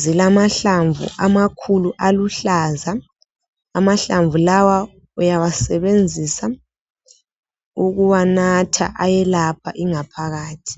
zilamahlamvu amakhulu aluhlaza. Amahlamvu lawa uyawasebenzisa ukuwanatha ayelapha ingaphathi.